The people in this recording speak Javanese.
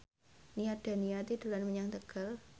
Nia Daniati dolan menyang Tegal